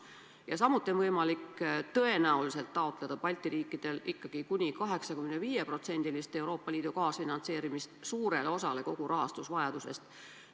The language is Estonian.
Ja samuti on Balti riikidel tõenäoliselt võimalik taotleda kuni 85% ulatuses Euroopa Liidu kaasfinantseerimist suurele osale kogu rahastusvajadusest.